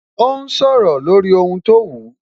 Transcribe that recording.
Ó sọ̀rọ̀ lórí ohun tó wù